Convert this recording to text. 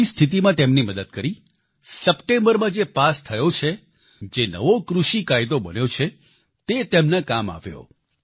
તેવી સ્થિતીમાં તેમની મદદ કરી સપ્ટેમ્બરમાં જે પાસ થયો છે જે નવો કૃષિ કાયદો બન્યો છે તે તેમના કામ આવ્યો